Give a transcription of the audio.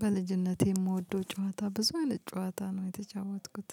በልጅነቴ የምወደው ጫዋታ ብዙ አይነት ጨዋታ ነው የተጫወትኩት፥